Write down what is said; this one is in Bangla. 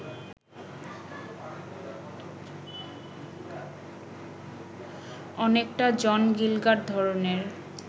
অনেকটা জন গিলগাড ধরনের